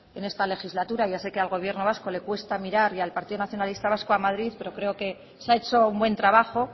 en esta legislatura ya sé que al gobierno vasco le cuesta mirar y al partido nacionalista vasco a madrid pero creo que se ha hecho un buen trabajo